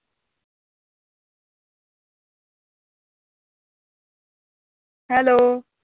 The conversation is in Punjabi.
ਹੈਲੋ।